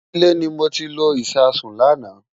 Ilé ni mo ti lo Ìṣasùn lánàá.